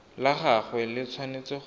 la gagwe le tshwanetse go